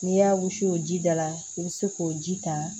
N'i y'a wusu o ji da la i bɛ se k'o ji ta